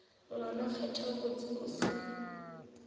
ngwane kgetha botse o se